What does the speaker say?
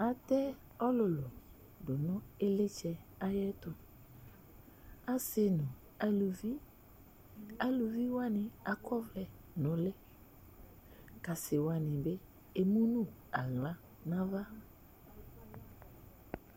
Atɛ ɔlʋlʋ tʋ nʋ ɩɣlitsɛ ɛtʋ, asi nʋ alʋvɩ Aluvi wani akɔ ɔvlɛ nʋ ʋlɩ, kʋ asi wani bɩ emu nʋ aɣla nʋ ava